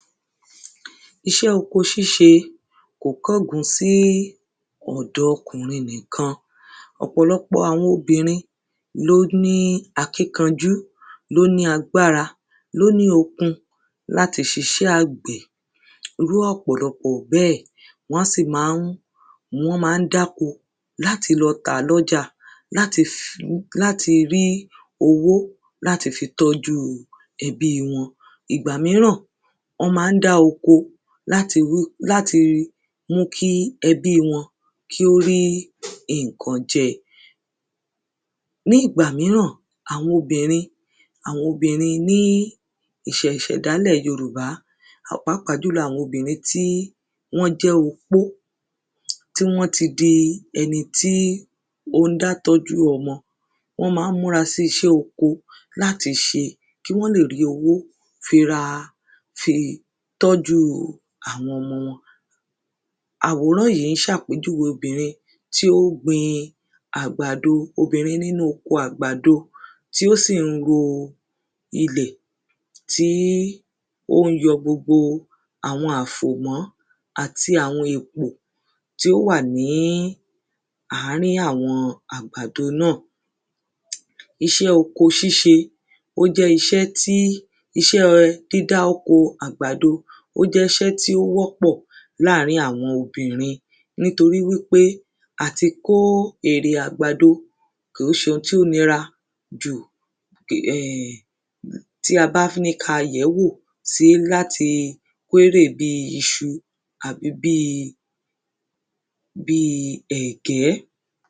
iṣẹ́ oko ṣíṣe kò kọ́gun sí ọ̀dọ ọkùnrin nìkan ọ̀pọ̀lọpọ̀ àwọn obìnrin ló ní akíkanjú, ló ní agbára, ló ní okun láti ṣiṣẹ́ àgbẹ̀ irú ọ̀pọ̀lọpọ̀ bẹ́ẹ̀, wọ́n máa ń da oko láti lọ tà lọ́jà láti rí owó láti fi tọ́jú ẹbí wọn Ìgbà míràn wọ́n ma ń da oko láti mú kí ẹbí wọn kí ó rí ǹkan jẹ ní ìgbà míràn àwọn obìnrin ní ìṣẹ̀ ìṣẹ̀dálẹ̀ ilẹ̀ Yorùbá, pàápàá jùlọ àwọn obìnrin tí wọ́n jẹ́ opó tí wọ́n ti di ẹni tí ó ń dá tọ́ju ọmọ, wọ́n máa ń múra sí iṣẹ́ oko láti ṣe, kí wọ́n lè rí owó láti fi tọ́jú àwọn ọmọ wọn Àwòrán yìí ń ṣe àpèjúwe obìnrin tí ó ń gbìn àgbàdo, obìnrin nínú oko àgbàdo tí ó sì ń ro ilẹ̀ tí ó ń yọ gbogbo àfòmọ́ àti àwọn èpo tí ó wà ní àárín àwọn àgbàdo náà iṣẹ́ oko ṣíṣe, ó jẹ́ iṣẹ́ tí, iṣẹ́ dídá oko àgbàdo, ó jẹ́ iṣẹ́ tí ó wọ́pọ̀ láàrín àwọn obìnrin nítorí wípé àti kó èrè àgbàdo kìí ṣe ohun tí ó nira jù. Tí a bá ní káa yẹ̀ẹ́wò sí láti kó ère bíi iṣu àbí bíi ẹ̀gẹ́